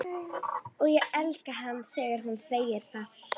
Og ég elska hana þegar hún segir það.